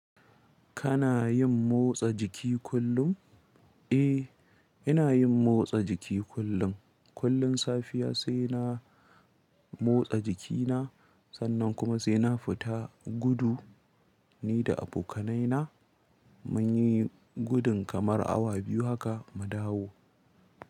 Kana yin motsa jiki kullum? Eh, ina yin motsa jiki kullum. Kullum safiya sai na motsa jikina sannan kuma sai na fita gudu ni da abokanaina. Mun yi gudun kamar awa biyu haka mu dawo.